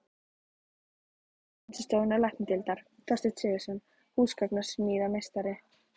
Bekki og borð í kennslustofur læknadeildar: Þorsteinn Sigurðsson, húsgagnasmíðameistari.